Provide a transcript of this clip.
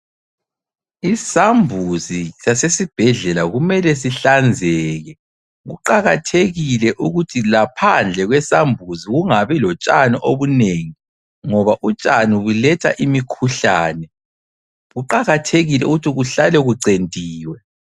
Isambuzi sasesibhedlela kumele sihlanzeke. Kuqakathekile ukuthi laphandle kwesambuzi kungabi lotshani obunengi, ngoba utshani buletha imikhuhlane. Kuqakathekile ukuthi kuhlale kucentiwe.